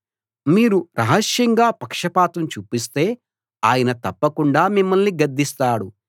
మీరు రహస్యంగా పక్షపాతం చూపిస్తే ఆయన తప్పకుండా మిమ్మల్ని గద్దిస్తాడు